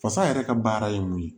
Fasa yɛrɛ ka baara ye mun ye